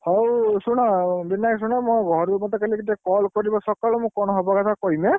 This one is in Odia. ହଉ ଶୁଣ ଭାଇ ଶୁଣ ମୋ ଘରୁ ମୋତେ ଟିକେ call କରିବ ସକାଳୁ ମୁଁ କଣ ହବା କଥା କହିବି ଏଁ?